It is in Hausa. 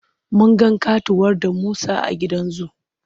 Mun ga ƙatuwar damusa a gidan zu.